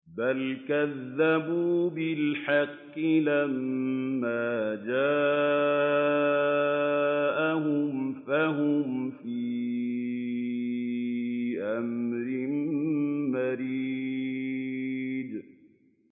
بَلْ كَذَّبُوا بِالْحَقِّ لَمَّا جَاءَهُمْ فَهُمْ فِي أَمْرٍ مَّرِيجٍ